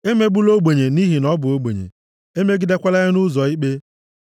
Emegbula ogbenye nʼihi na ọ bụ ogbenye. Emegidekwala ya nʼụzọ ikpe.